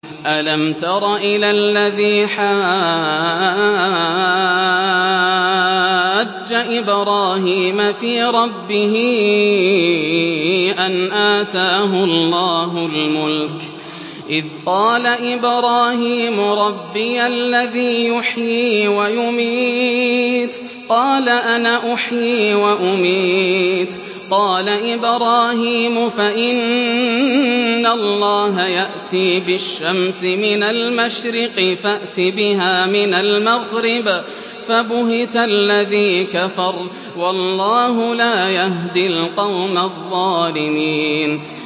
أَلَمْ تَرَ إِلَى الَّذِي حَاجَّ إِبْرَاهِيمَ فِي رَبِّهِ أَنْ آتَاهُ اللَّهُ الْمُلْكَ إِذْ قَالَ إِبْرَاهِيمُ رَبِّيَ الَّذِي يُحْيِي وَيُمِيتُ قَالَ أَنَا أُحْيِي وَأُمِيتُ ۖ قَالَ إِبْرَاهِيمُ فَإِنَّ اللَّهَ يَأْتِي بِالشَّمْسِ مِنَ الْمَشْرِقِ فَأْتِ بِهَا مِنَ الْمَغْرِبِ فَبُهِتَ الَّذِي كَفَرَ ۗ وَاللَّهُ لَا يَهْدِي الْقَوْمَ الظَّالِمِينَ